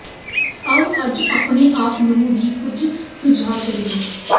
ਆਓ ਅੱਜ ਆਪਣੇ ਆਪ ਨੂੰ ਵੀ ਕੁੱਝ ਸੁਆਲ ਕਰੀਏ